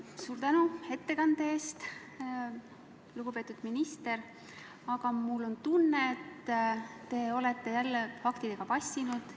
Suur tänu ettekande eest, lugupeetud minister, aga mul on tunne, et te olete jälle faktidega vassinud.